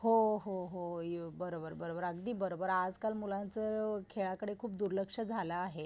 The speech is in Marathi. हो, हो, हो, बरोबर, बरोबर अगदी बरोबर आजकाल मुलांचं खेळाकडे खूप दुर्लक्ष झालं आहे.